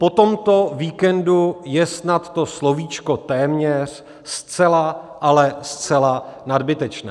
Po tomto víkendu je snad to slovíčko "téměř" zcela, ale zcela nadbytečné.